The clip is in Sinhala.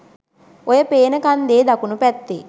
ඔය පේන කන්දෙ දකුණූ පැත්තෙ